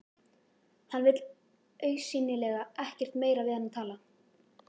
Hann vill augsýnilega ekkert meira við hana tala.